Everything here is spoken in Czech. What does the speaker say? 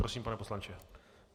Prosím, pane poslanče.